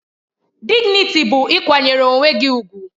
Dịgnịtị bụ ịkwanyere onwe gị ùgwù